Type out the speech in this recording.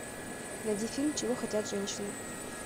найди фильм чего хотят женщины